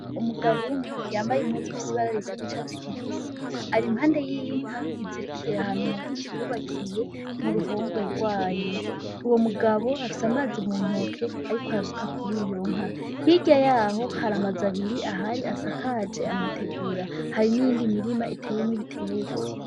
Umugabo umwe yambaye impuzu ifise ibara risa n'icatsi kibisi arimpande yinka izirikiye ahantu mubiti bubakiye muruhongore gwayo; uwo mugabo afise amazi muntoke arikwarasuka kuriyonka nka. Hirya yaho hari amazu abiri ahari asakaje amategura hari n'iyindi mirima iteyemwo ibitegwa.